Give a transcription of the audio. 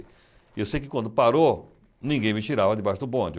E eu sei que quando parou, ninguém me tirava debaixo do bonde.